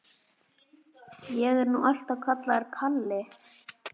Ég er nú alltaf kallaður Kalli.